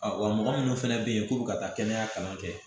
wa mɔgɔ minnu fana bɛ yen k'olu ka taa kɛnɛya kalan kɛ